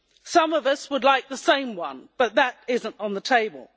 Some of us would like the same one, but that is not on the table.